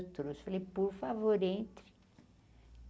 Eu trouxe, falei, por favor, entre.